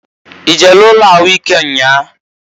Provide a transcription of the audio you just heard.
I jere ụnọ ahụ ịke nnyaa?